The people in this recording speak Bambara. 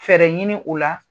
Fɛɛrɛ ɲini u la